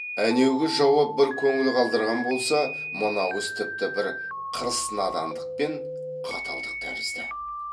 әнеугі жауап бір көңіл қалдырған болса мынау іс тіпті бір қырыс надандық пен қаталдық тәрізді